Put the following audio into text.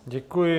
Děkuji.